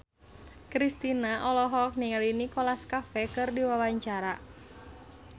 Kristina olohok ningali Nicholas Cafe keur diwawancara